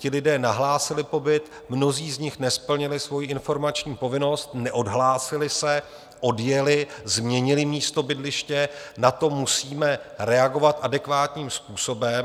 Ti lidé nahlásili pobyt, mnozí z nich nesplnili svoji informační povinnost, neodhlásili se, odjeli, změnili místo bydliště, na to musíme reagovat adekvátním způsobem.